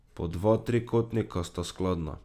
Po dva trikotnika sta skladna.